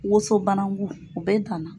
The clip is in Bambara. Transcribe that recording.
Woso banangu u bɛ dan na.